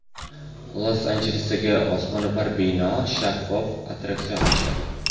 Los-Anjelesdagi osmono‘par binoda shaffof attraksion ochiladi.